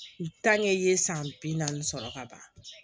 i ye san bi naani sɔrɔ ka ban